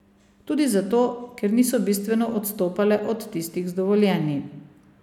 Tudi zato, ker niso bistveno odstopale od tistih z dovoljenji.